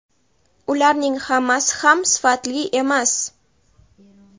ularning hammasi ham sifatli emas.